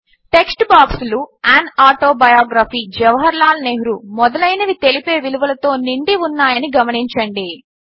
text బాక్సులు an autobiography Jawaharlal Nehru మొదలైనవి తెలిపే విలువలతో నిండి ఉన్నాయని గమనించండి